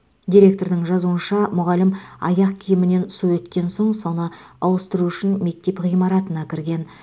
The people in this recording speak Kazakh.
директордың жазуынша мұғалім аяқ киімінен су өткен соң соны ауыстыру үшін мектеп ғимаратына кірген